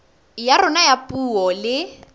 ya rona ya puo le